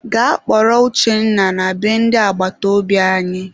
Gaa kpọrọ Uchenna na be ndị agbataobi anyị!